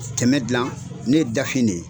tɛmɛn dilan ne ye dafin de ye.